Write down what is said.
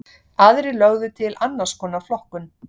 Aðrir lögðu til annars konar flokkun.